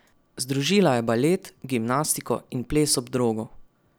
Združila je balet, gimnastiko in ples ob drogu.